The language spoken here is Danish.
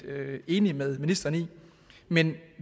enig med ministeren i men